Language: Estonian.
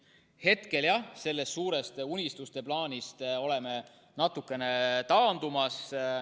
Hetkel jah, sellest suurest unistuste plaanist oleme natukene taandumas.